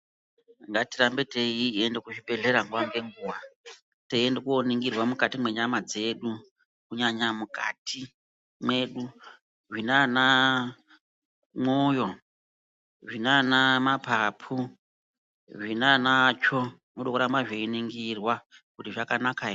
Ngatirambe teiende kuzvibhedlera nguva ngenguva. Teiende koningirwa mwukati mwenyama dzedu kunyanya mwukati mwedu. Zvinana mwoyo, zvinanamapapu, zvinana tsvoo, zvinoda kurapa zveiningirwa kuti zvakanaka here.